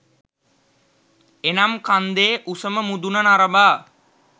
එනම් කන්දේ උසම මුදුන නරඹා